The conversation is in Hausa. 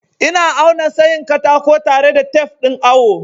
Ina auna tsayin katako tare da tef ɗin awo.